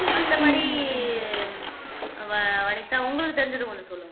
மத்தபடி வ வனிதா உங்களுக்கு தெரிஞ்சது கொஞ்சம் சொல்லுங்க